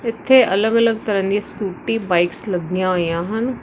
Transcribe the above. ਇੱਥੇ ਅਲਗ -ਅਲਗ ਤਰਾਂ ਦੀਆਂ ਸਕੂਟੀ ਬਾਈਕਸ ਲੱਗੀਆਂ ਹੋਈਆਂ ਹਨ।